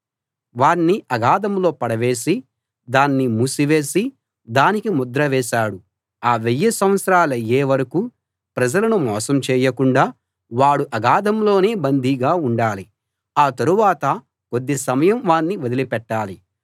వాణ్ణి అగాధంలో పడవేసి దాన్ని మూసివేసి దానికి ముద్ర వేశాడు ఆ వెయ్యి సంవత్సరాలయ్యే వరకూ ప్రజలను మోసం చేయకుండా వాడు అగాధంలోనే బందీగా ఉండాలి ఆ తరువాత కొద్ది సమయం వాణ్ణి వదిలిపెట్టాలి